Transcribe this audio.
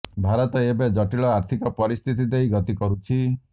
ଭାରତ ଏବେ ଜଟିଳ ଆର୍ଥିକ ପରିସ୍ଥିତି ଦେଇ ଗତି କରୁଛି